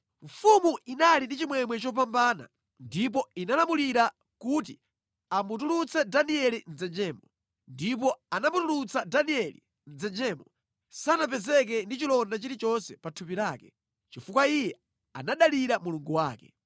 Mfumu inali ndi chimwemwe chopambana ndipo inalamulira kuti amutulutse Danieli mʼdzenjemo. Ndipo atamutulutsa Danieli mʼdzenjemo, sanapezeke ndi chilonda chilichonse pa thupi lake, chifukwa iye anadalira Mulungu wake.